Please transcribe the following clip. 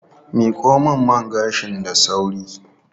Miko min man gashin da sauri.